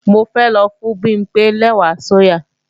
Mo fẹ́ lọ fún Bimpé lẹ́wà sóyà